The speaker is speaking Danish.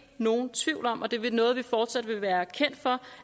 nogen tvivl om og det er noget vi fortsat vil være kendt for